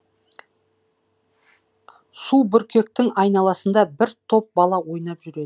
субүркектің айналасында бір топ бала ойнап жүреді